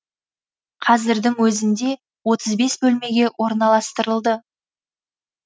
қазірдің өзінде отыз бес бөлмеге орналастырылды